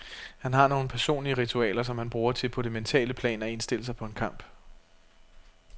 Han har nogle personlige ritualer, som han bruger til på det mentale plan at indstille sig på en kamp.